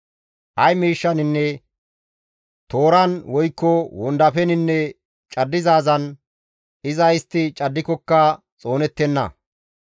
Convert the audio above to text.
Ay mashshaninne tooran woykko wondafeninne caddizaazan, iza istti caddikokka xoonettenna.